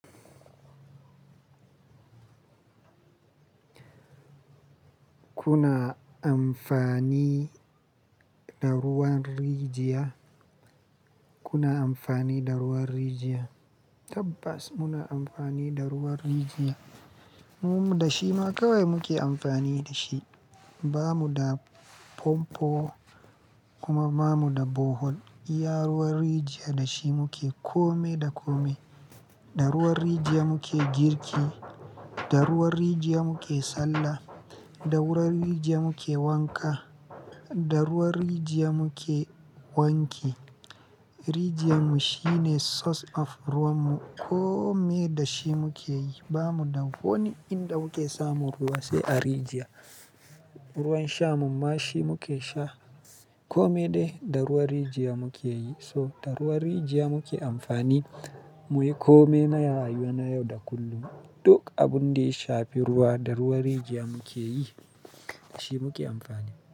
Kuna amfani da ruwan rijiya? Kuna amfani da ruwan rijiya? Tabbas muna amfani da ruwan rijiya. Mu man da shi ma kawai muke amfani da shi. Bamu da pompo kuma ba mu da bohol. Iya ruwan rijiya da shi muke kome da kome. Da ruwan rijiya muke girki, da ruwan rijiya muke sallah, da ruwan rijiya muke wanka, da ruwan rijiya muke wanke. Rijiya mu shine source of ruwan mu. Kome da shi muke yi. Ba mu da wanni in da muke samu ruwa sai a rijiya. Ruwan shamu ma shi muke sha. Kome dai da ruwan rijiya muke yi. So da ruwan rijiya muke amfani. Mu yi kome na rayuwa na yau da kullum. Duk abun da ya shafi ruwa, da ruwan rijiya muke yi. Da shi muke amfani.